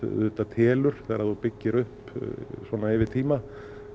telur þegar þú byggir upp yfir tíma